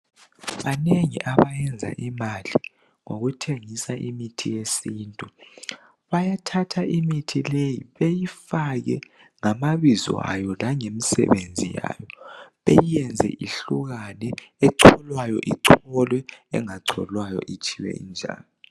Banengi abayenza imali ngokuthengisa imithi yesintu bayathatha imithi leyi beyifake ngamabizo ayo langemisebenzi yayo beyenze ihlukane echolwayo icholiwe engacholwayo itshiywe injalo.